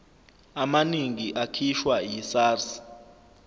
amaningi akhishwa yisars